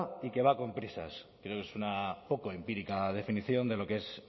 y que va con prisas creo que es una poco empírica definición de lo que es